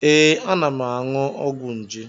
Ee, ana m aṅụ ọgwụ nje